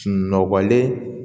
Sunɔgɔlen